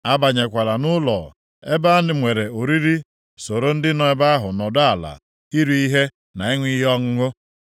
“Abanyekwala nʼụlọ ebe e nwere oriri soro ndị nọ nʼebe ahụ nọdụ ala iri ihe na ịṅụ ihe ọṅụṅụ